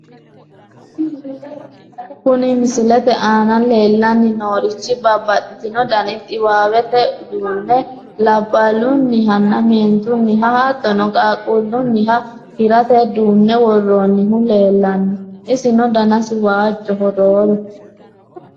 Kuni misilete aana leellanni noorichi babbaxino dani xiwawete uduunne labballunihanna meentunniha hattono qaaqquullunniha hirate duunne worroonnihu leellanno, isino danasi waajjoho rooru.